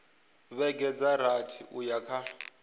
vhege dza rathi uya kha